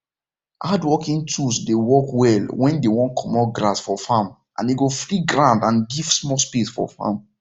hand working tools dey work well when dey wan comot grass for farm and e go free ground and give small space for farm